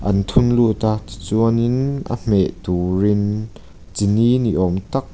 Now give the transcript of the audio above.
an thun lut a chuanin a hmeh turin chini ni awm tak.